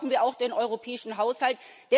Dazu brauchen wir auch den europäischen Haushalt.